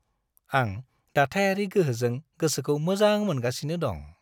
आं दाथायारि गोहोजों गोसोखौ मोजां मोनगासिनो दं।